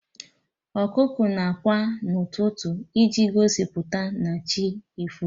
Ọkụkọ na ákwà n'ụtụtụ iji gosipụta na chi efogo